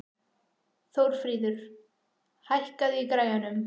Þórfríður, hækkaðu í græjunum.